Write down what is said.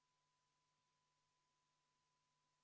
Kohalolijaks registreerus 60 Riigikogu liiget, puudub 41.